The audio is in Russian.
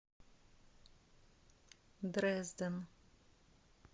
дрезден